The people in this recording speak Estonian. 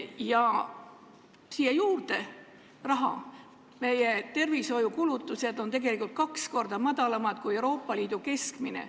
Ja mis puutub rahasse, siis meie tervishoiukulutused on kaks korda väiksemad, kui on Euroopa Liidu keskmine.